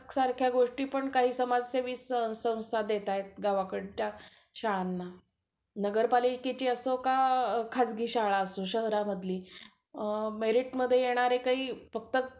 सगळा खर्च सुद्धा bank loan म्हणून देते.